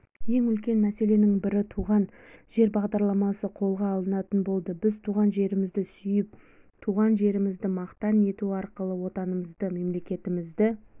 ең үлкен мәселенің бірі туған жер бағдарламасы қолға алынатын болды біз туған жерімізді сүйіп туған жерімізді мақтан ету арқылы отанымызды мемлекетімізді